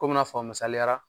Kom'i na fɔ a misaliya la